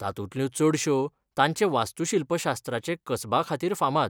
तातूंतल्यो चडश्यो तांचे वास्तूशिल्पशास्त्राचे कसबाखातीर फामाद.